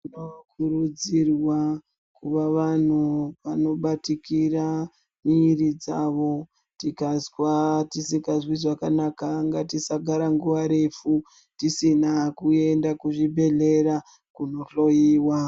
Tinokuridzirwa kuva vanhu vanobatikira mwiri dzavo. Tikazwa tisingazwi zvakanaka ngatisagara nguwa refu tisina kuenda kuzvibhedhlera kohloiwa.